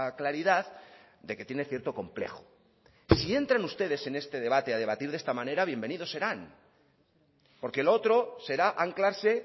claridad de que tiene cierto complejo si entran ustedes en este debate a debatir de esta manera bienvenidos serán porque lo otro será anclarse